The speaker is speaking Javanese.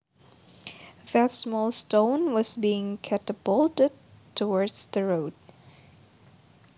That small stone was being catapulted towards the road